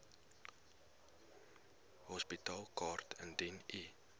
hospitaalkaart indien u